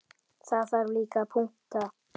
Það þarf líka að punta.